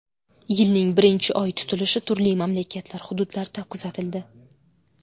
Yilning birinchi Oy tutilishi turli mamlakatlar hududlarida kuzatildi .